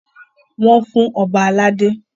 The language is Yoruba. Wọ́n fún Ọba ládé.